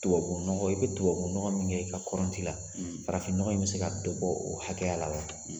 Tubabunɔgɔ i bɛ dubabunɔgɔ min kɛ i ka kɔrɔnti la farafinnɔgɔ in bɛ se ka dɔ bɔ o hakɛya la wa